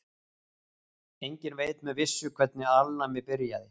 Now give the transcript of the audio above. Enginn veit með vissu hvernig alnæmi byrjaði.